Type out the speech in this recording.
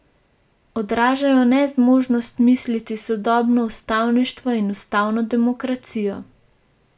Odražajo nezmožnost misliti sodobno ustavništvo in ustavno demokracijo.